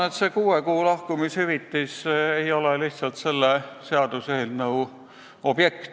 Kuue kuu palga ulatuses makstav lahkumishüvitis ei ole selle seaduseelnõu objekt.